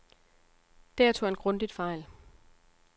Der tog han grundigt fejl.